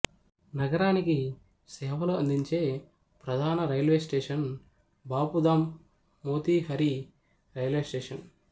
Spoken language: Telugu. నగరానికి సేవలు అందించే ప్రధాన railway station Bapudham Motihari railway station